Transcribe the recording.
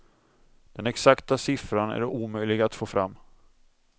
Den exakta siffran är omöjlig att få fram.